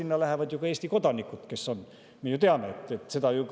ju ka Eesti kodanikud.